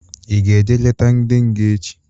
I ga-eje leta ndị nga echi?